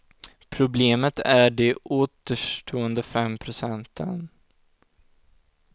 Problemet är de återstående fem procenten.